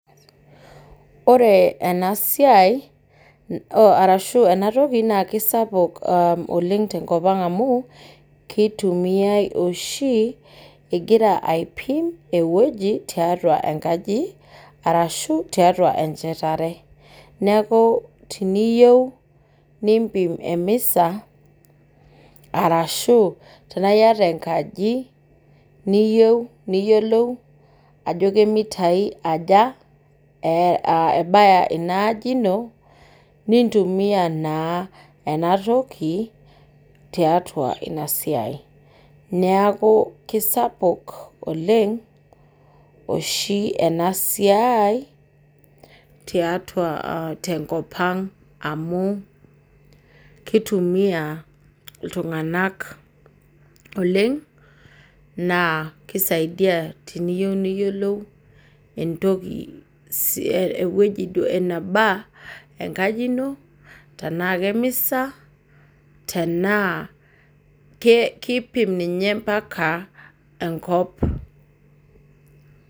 Ore enasiai, arashu enatoki na kisapuk oleng tenkop ang amu, keitumiai oshi, igira aipim ewoji tiatua enkaji, arashu tiatua enchetare. Neeku tiniyieu nimpim emisa, arashu tenaa yata enkaji, niyieu niyiolou ajo kemitai aja ebaya inaaji ino, nintumia naa enatoki, tiatua inasiai. Neeku kesapuk oleng, oshi enasiai, tiatua tenkop ang amu, kitumia iltung'anak oleng, naa kisaidia tiniyieu niyiolou entoki ewueji eneba enkaji ino, tenaa kemisa, tenaa kipim ninye mpaka enkop.